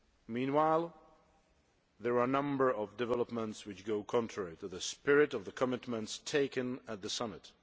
Meanwhile, there are a number of developments which go contrary to the spirit of the commitments taken at the Summit.